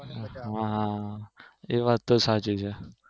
હા હા એ વાત તો સાચી છે